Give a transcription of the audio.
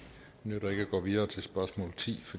nytter at gå videre til spørgsmål ti